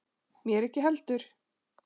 Mér ekki heldur.